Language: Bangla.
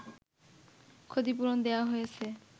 ক্ষতিপূরণ দেয়া হয়েছে